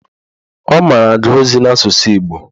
Ọ mara agụ ozi n'asụsụ Igbo